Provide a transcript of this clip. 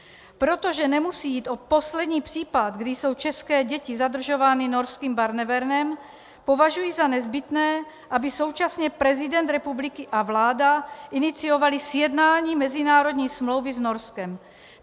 Protože nemusí jít o poslední případ, kdy jsou české děti zadržovány norským Barnevernem, považuji za nezbytné, aby současně prezident republiky a vláda iniciovali sjednání mezinárodní smlouvy s Norskem.